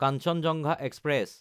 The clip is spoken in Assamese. কাঞ্চেনজঙ্গা এক্সপ্ৰেছ